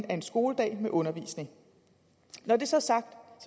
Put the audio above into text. er en skoledag med undervisning når det så er sagt